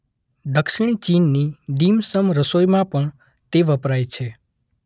દક્ષિણ ચીનની ડીમ-સમ રસોઈમાં પણ તે વપરાય છે.